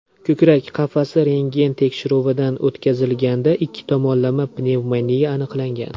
Ko‘krak qafasi rentgen tekshiruvidan o‘tkazilganda ikki tomonlama pnevmoniya aniqlangan.